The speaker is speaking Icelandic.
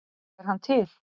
Er hann til?